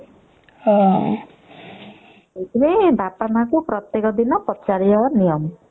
ହୁଁ ସେଇଠି ପାଇଁ ପ୍ରତେକ ପଚାରିବା ନିୟମ